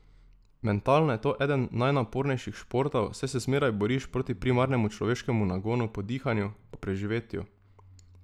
Mentalno je to eden najnapornejših športov, saj se zmeraj boriš proti primarnemu človeškemu nagonu po dihanju, po preživetju.